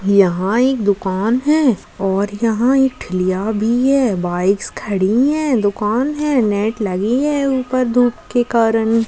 यहां एक दुकान है और यहां एक खिलिया भी है बाइक्स खड़ी है दुकान है नेट लगी है ऊपर धुप के कारण।